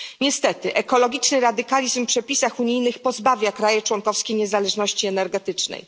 Niestety ekologiczny radykalizm w przepisach unijnych pozbawia państwa członkowskie niezależności energetycznej.